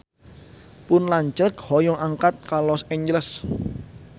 Pun lanceuk hoyong angkat ka Los Angeles